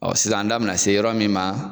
Ɔ sisan an da be na se yɔrɔ min ma